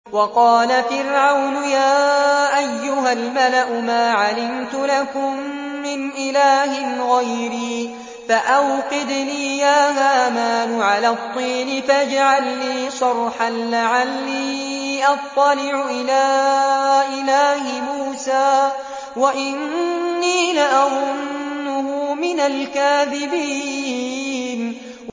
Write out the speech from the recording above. وَقَالَ فِرْعَوْنُ يَا أَيُّهَا الْمَلَأُ مَا عَلِمْتُ لَكُم مِّنْ إِلَٰهٍ غَيْرِي فَأَوْقِدْ لِي يَا هَامَانُ عَلَى الطِّينِ فَاجْعَل لِّي صَرْحًا لَّعَلِّي أَطَّلِعُ إِلَىٰ إِلَٰهِ مُوسَىٰ وَإِنِّي لَأَظُنُّهُ مِنَ الْكَاذِبِينَ